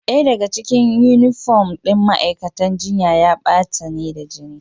Daya daga cikin yunifom ɗin ma'aikatan jinya ya bata ne da jini.